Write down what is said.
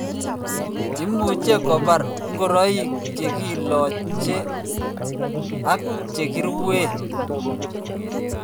Imuche kobar ngoroik chekilache aki chekiruin